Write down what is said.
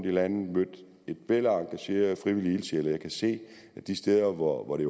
i landet mødt et væld af engagerede frivillige ildsjæle og jeg kan se at de steder hvor det